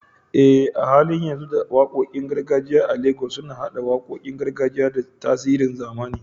Eh, a halin yanzu waƙoƙin gargajiya a Legas suna haɗa waƙoƙin gargajiya da tasirin zamani